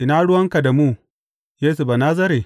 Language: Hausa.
Ina ruwanka da mu, Yesu Banazare?